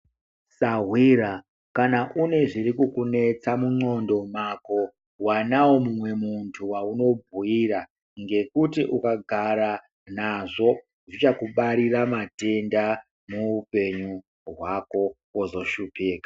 Sahwira kana une zviri kukunetsa mundxondo mwako wanawo mumwe muntu waunobhuira ngekuti ukagara nazvo zvichakubarira matenda muupenyu hwako wozohlupika.